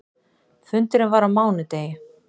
Fundurinn var á mánudegi.